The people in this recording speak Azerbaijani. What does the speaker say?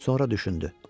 Sonra düşündü.